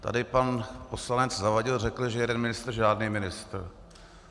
Tady pan poslanec Zavadil řekl, že jeden ministr, žádný ministr.